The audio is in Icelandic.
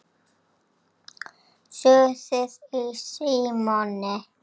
SUÐIÐ Í SÍMONI